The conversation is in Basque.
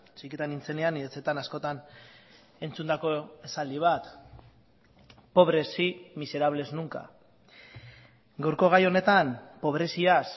txikitan nintzenean nire etxetan askotan entzundako esaldi bat pobre sí miserables nunca gaurko gai honetan pobreziaz